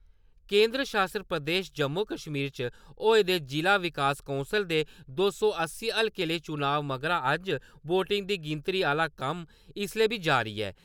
केंदर शासत प्रदेश जम्मू-कश्मीर च होए दे जिला विकास कौंसल दे दो सौ अस्सीं हल्के लेई चुनाए मगरा अज्ज वोटिंग दी गिनतरी आह्‌ला कम्म इसलै बी जारी ऐ।